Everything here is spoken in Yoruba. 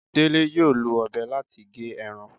Dele yóò lọ obé latí gé erán